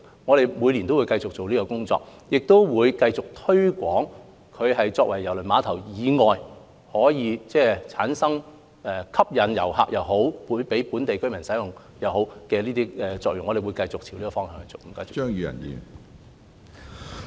我們每年也會繼續進行有關工作，亦會繼續推廣它作為郵輪碼頭以外的用途，發揮吸引遊客及讓本地居民使用的功效，我們會繼續朝這個方向努力。